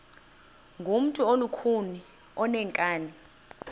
ngumntu olukhuni oneenkani